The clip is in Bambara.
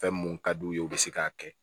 Fɛn mun ka d'u ye u bi se k'a kɛ